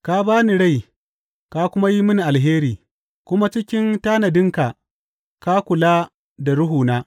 Ka ba ni rai ka kuma yi mini alheri, kuma cikin tanadinka ka kula da ruhuna.